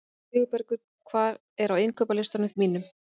Sigurbergur, hvað er á innkaupalistanum mínum?